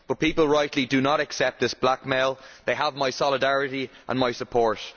But people rightly do not accept this blackmail, and they have my solidarity and my support.